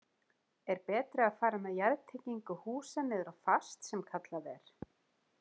Er betra að fara með jarðtengingu húsa niður á fast sem kallað er?